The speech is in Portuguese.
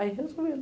Aí resolveram.